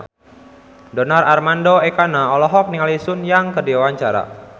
Donar Armando Ekana olohok ningali Sun Yang keur diwawancara